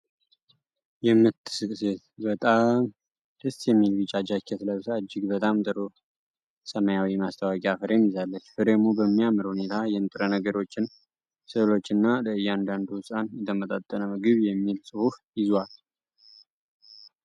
የምትስቅ ሴት በጣም ደስ የሚል ቢጫ ጃኬት ለብሳ እጅግ በጣም ጥሩ ሰማያዊ የማስታወቂያ ፍሬም ይዛለች። ፍሬሙ በሚያምር ሁኔታ የንጥረ ነገሮችን ስዕሎችና "ለእያንዳንዱ ህጻን፣ የተመጣጠነ ምግብ" የሚል ጽሑፍ ይዟል።